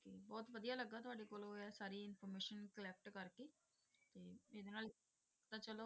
ਤੇ ਬਹੁਤ ਵਧੀਆ ਲੱਗਾ ਤੁਹਾਡੇ ਕੋਲੋਂ ਇਹ ਸਾਰੀ information collect ਕਰਕੇ ਤੇ ਇਹਦੇ ਨਾਲ ਤਾਂ ਚਲੋ